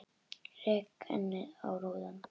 Rek ennið í rúðuna.